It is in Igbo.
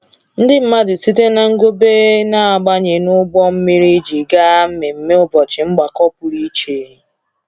Ndị mmadụ site na Ngobe na-abanye n’ụgbọ mmiri iji gaa mmemme ụbọchị mgbakọ pụrụ iche.